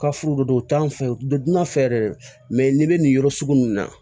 Ka furu de don u t'an fɛ u bɛ dunna fɛ dɛ mɛ n'i bɛ nin yɔrɔ sugu ninnu na